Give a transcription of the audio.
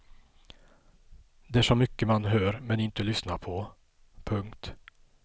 Det är så mycket man hör men inte lyssnar på. punkt